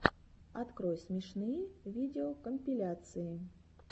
открой смешные видеокомпиляции